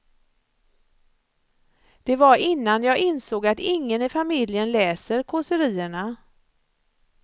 Det var innan jag insåg att ingen i familjen läser kåserierna.